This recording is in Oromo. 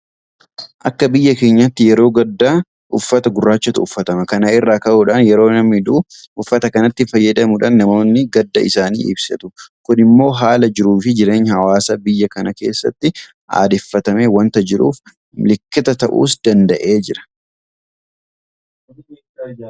Akka biyya keenyaatti yeroo gaddaa uffata gurraachatu uffatama. Kana irraa ka'uudhaan yeroo namni du'u uffata kanatti fayyadamuudhaan namoonni gadda isaanii ibsatu. Kun immoo haala jiruufi jireenya hawaasa biyya kanaa keessatti aadeffatamee waanta jiruuf milikkita ta'uus danda'eera.